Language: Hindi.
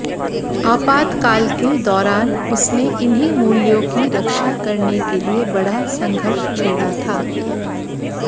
आपातकाल के दौरान उसने इन्हीं मूल्यों की रक्षा करने के लिए बड़ा संघर्ष छेड़ा था